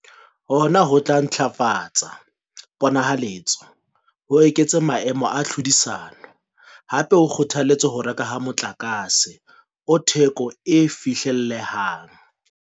Hona ho tla ntlafatsa pona-haletso, ho eketse maemo a tlhodisano, hape ho kgotha-letse ho rekwa ha motlakase o theko e fihlellehang.